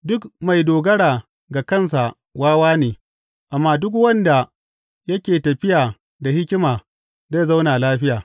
Duk mai dogara ga kansa wawa ne, amma duk wanda yake tafiya da hikima zai zauna lafiya.